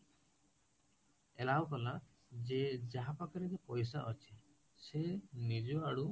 allow କଲା ଯେ ଯାହା ପାଖରେବୁଇ ପଇସା ଅଛି, ସେ ନିଜ ଆଡୁ